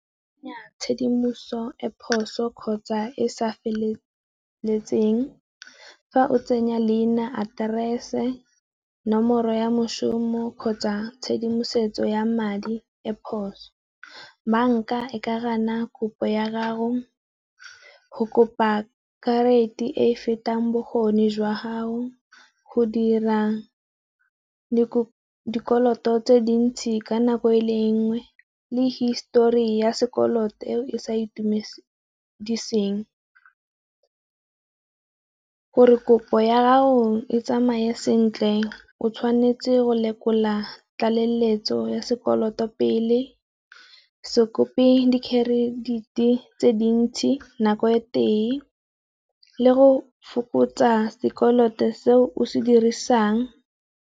Tshedimoso e phoso kgotsa e sa feleletseng, fa o tsenya leina, aterese, nomoro ya moshomo kgotsa tshedimosetso ya madi e phoso. Banka e ka gana kopo ya gago, go kopa karata e e fetang bokgoni jwa gago, go dira le gore dikoloto tse dintsi ka nako e lengwe le histori ya sekoloto eo e sa itumediseng. Gore kopo ya ga go e tsamaye sentle o tshwanetse go lekola tlaleletso ya sekoloto pele, se kope dikherediti tse dintsi nako ye tee le go fokotsa sekoloto seo o se dirisang.